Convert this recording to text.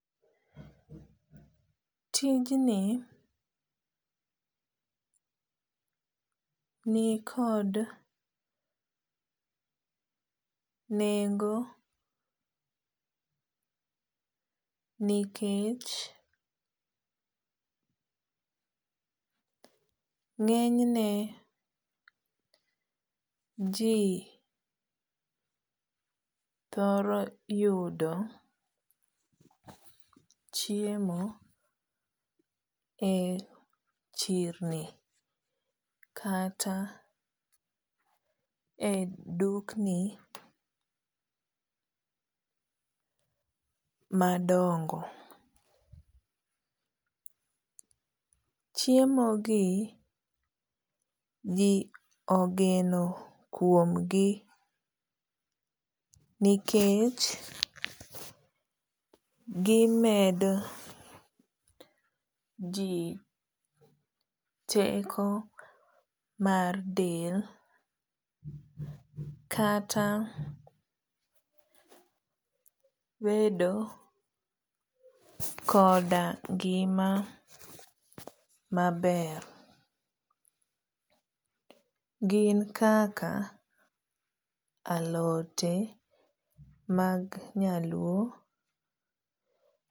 tijni nikod nengo nikech ngenyne jii thoro yudo chiemo e chirni kata e dukni madongo. chiemo gi jii ogeni kuomgi nikech gimedo jii teko mar del kata bedo koda ngima maber. gin kaka alote mag nyaluo